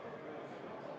Head kolleegid!